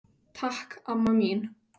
Takk amma mín.